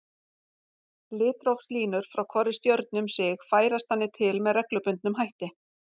Litrófslínur frá hvorri stjörnu um sig færast þannig til með reglubundnum hætti.